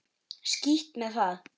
Skítt með það.